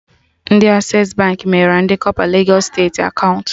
Ndị Access Baankị meghere ndị kọpa legos steeti akaụntụ